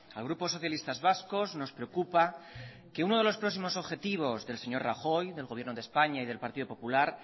al grupo socialistas vascos nos preocupa que uno de los próximos objetivos del señor rajoy del gobierno de españa y del partido popular